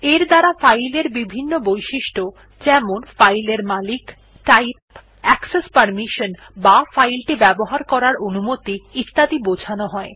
এর দ্বারা ফাইল এর বিভিন্ন বৈশিষ্ট্য যেমন ফাইল এর মালিক টাইপ অ্যাকসেস পারমিশনসহ বা ফাইল টি ব্যবহার করার অনুমতি ইত্যাদি বোঝানো হয়